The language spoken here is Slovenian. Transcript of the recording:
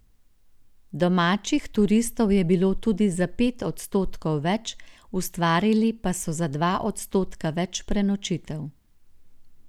Domačih turistov je bilo tudi za pet odstotkov več, ustvarili pa so za dva odstotka več prenočitev.